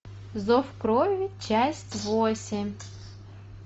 зов крови часть восемь